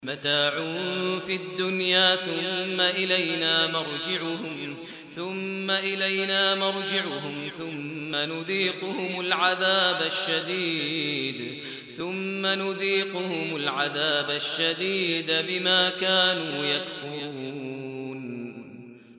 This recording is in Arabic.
مَتَاعٌ فِي الدُّنْيَا ثُمَّ إِلَيْنَا مَرْجِعُهُمْ ثُمَّ نُذِيقُهُمُ الْعَذَابَ الشَّدِيدَ بِمَا كَانُوا يَكْفُرُونَ